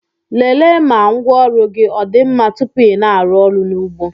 lelee ma ngwaọrụ gị ọ dị mma tupu ị na-arụ ọrụ n'ugbo